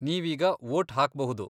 ನೀವೀಗ ವೋಟ್ ಹಾಕ್ಬಹುದು.